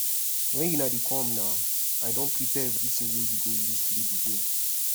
wen una dey come na i don prepare everything wey we go use play the game